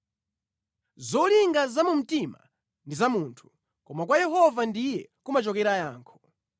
Zolinga za mu mtima ndi za munthu, koma kwa Yehova ndiye kumachokera yankho.